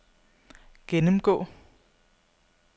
gennemgå